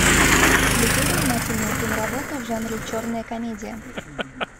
включи занимательную киноработу в жанре черная комедия